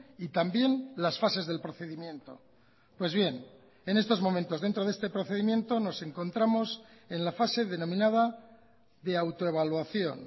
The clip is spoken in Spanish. y también las fases del procedimiento pues bien en estos momentos dentro de este procedimiento nos encontramos en la fase denominada de autoevaluación